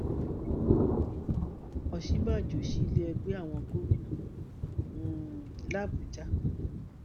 òsínbàjò sí ilé ẹgbẹ àwọn gómìnà um làbújá